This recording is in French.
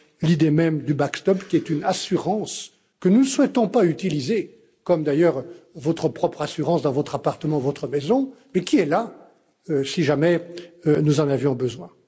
l'idée même du backstop qui est une assurance que nous ne souhaitons pas utiliser comme vous d'ailleurs votre propre assurance dans votre appartement ou votre maison mais qui est là si jamais nous en avions besoin.